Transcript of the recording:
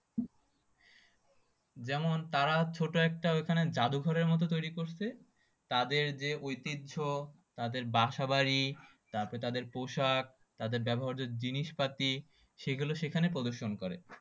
যেমন তারা ছোট একটা ওখানে জাদুঘরের মত তৈরি করছে তাদের যে ঐতিহ্য তাদের বাসা বাড়ি তারপর তাদের পোশাক তাদের ব্যবহার্য যে জিনিসপাতি সেগুলো সেখানে প্রদর্শন করে